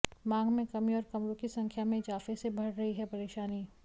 मांग में कमी और कमरों की संख्या में इजाफे से बढ़ रही है परेशानी